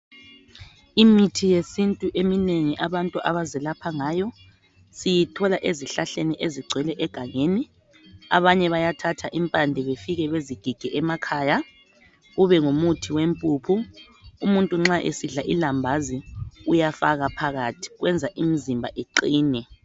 Imithi yesintu eminengi abantu abazelapha ngayo siyithola ezhlahleni ezigcwele egangeni abanye bayathatha impande befike bezigige kube ngumuthi wempuphu umuntu nxa esidla ilambazi uyafaka phakathi kwenza imizimba iqine.